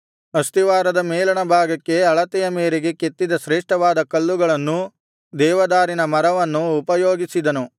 ಅಸ್ತಿವಾರದ ಮೇಲಣ ಭಾಗಕ್ಕೆ ಅಳತೆಯ ಮೇರೆಗೆ ಕೆತ್ತಿದ ಶ್ರೇಷ್ಠವಾದ ಕಲ್ಲುಗಳನ್ನೂ ದೇವದಾರಿನ ಮರವನ್ನೂ ಉಪಯೋಗಿಸಿದನು